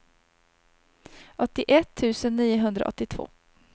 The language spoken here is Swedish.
åttioett tusen niohundraåttiotvå